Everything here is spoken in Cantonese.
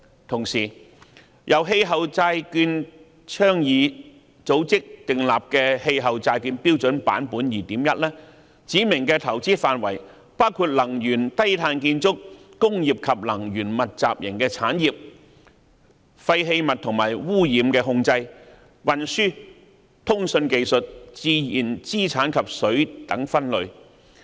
同時，由氣候債券倡議組織訂立的《氣候債券標準》版本 2.1 指明的投資範圍包括能源、低碳建築、工業及能源密集型產業、廢棄物和污染控制、運輸、通訊技術、自然資產及水等分類。